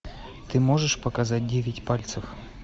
ты можешь показать девять пальцев